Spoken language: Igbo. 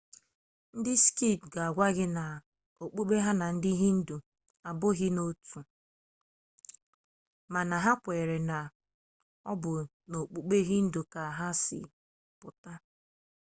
ndị sikh ga-agwa gị na okpukpe ha na okpukpe hindu abụghị otu ihe mana ha kweere na ọ bụ n'okpukpe hindu ka nke ha si pụta